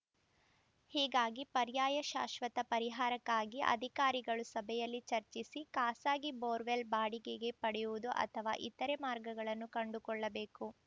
ಹೀಗಾಗಿ ಪರ್ಯಾಯ ಶಾಶ್ವತ ಪರಿಹಾರಕ್ಕಾಗಿ ಅಧಿಕಾರಿಗಳು ಸಭೆಯಲ್ಲಿ ಚರ್ಚಿಸಿ ಖಾಸಗಿ ಬೋರ್‌ವೆಲ್‌ ಬಾಡಿಗೆಗೆ ಪಡೆಯುವುದು ಅಥವಾ ಇತರೆ ಮಾರ್ಗಗಳನ್ನು ಕಂಡುಕೊಳ್ಳಬೇಕು